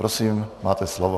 Prosím, máte slovo.